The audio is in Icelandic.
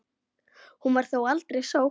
Hún var þó aldrei sótt.